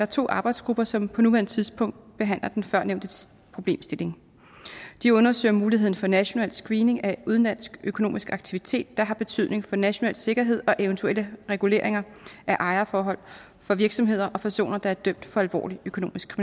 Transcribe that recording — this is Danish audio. to arbejdsgrupper som på nuværende tidspunkt behandler den førnævnte problemstilling de undersøger muligheden for en national screening af udenlandsk økonomisk aktivitet der har betydning for national sikkerhed og eventuelle reguleringer af ejerforhold for virksomheder og personer der er dømt for alvorlig økonomisk